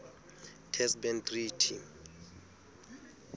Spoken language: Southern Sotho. test ban treaty